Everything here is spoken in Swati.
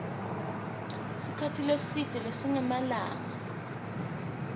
sikhatsi lesidze lesingemalanga